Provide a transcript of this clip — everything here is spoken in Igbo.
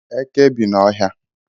Eke bi n'Ọhịa